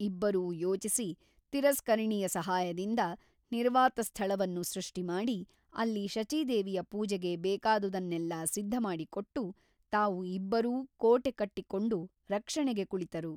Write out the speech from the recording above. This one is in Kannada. ಇಬ್ಬರೂ ಯೋಚಿಸಿ ತಿರಸ್ಕರಣಿಯ ಸಹಾಯದಿಂದ ನಿರ್ವಾತ ಸ್ಥಳವನ್ನು ಸೃಷ್ಟಿಮಾಡಿ ಅಲ್ಲಿ ಶಚೀದೇವಿಯ ಪೂಜೆಗೆ ಬೇಕಾದುದನ್ನೆಲ್ಲ ಸಿದ್ಧಮಾಡಿಕೊಟ್ಟು ತಾವು ಇಬ್ಬರೂ ಕೋಟೆ ಕಟ್ಟಿಕೊಂಡು ರಕ್ಷಣೆಗೆ ಕುಳಿತರು.